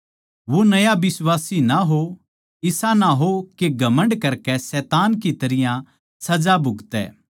वो नया बिश्वासी ना हो इसा ना हो के घमण्ड करकै शैतान की तरियां सजा भुगतै